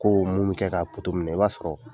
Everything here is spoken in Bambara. Ko mun bɛ kɛ ka poto minɛ i b'a sɔrɔ